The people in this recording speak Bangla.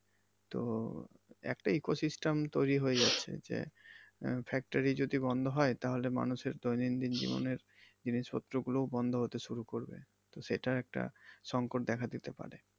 তো একটা eco system তৈরি হয়ে যাচ্ছে যে আহ factory যদি বন্ধ হয় তাহলে মানুষের দৈনন্দিন জিবনে জিনিসপত্র গুলো ও বন্ধ হতে শুরু করবে। তো সেটা একটা সঙ্কট দেখা দিতে পারে।